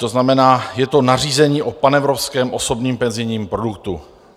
To znamená, je to nařízení o panevropském osobním penzijním produktu.